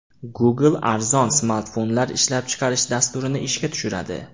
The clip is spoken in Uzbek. Google arzon smartfonlar ishlab chiqarish dasturini ishga tushiradi.